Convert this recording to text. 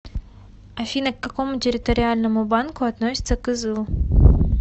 афина к какому территориальному банку относится кызыл